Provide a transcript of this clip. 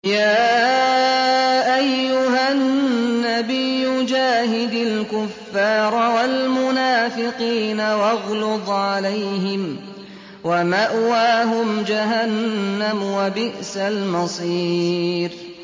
يَا أَيُّهَا النَّبِيُّ جَاهِدِ الْكُفَّارَ وَالْمُنَافِقِينَ وَاغْلُظْ عَلَيْهِمْ ۚ وَمَأْوَاهُمْ جَهَنَّمُ ۖ وَبِئْسَ الْمَصِيرُ